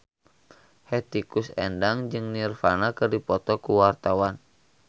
Hetty Koes Endang jeung Nirvana keur dipoto ku wartawan